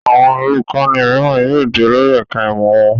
Àwọn olùkọ́ní mìíràn yóò di olórí ẹ̀ka-ìmọ̀ wọn.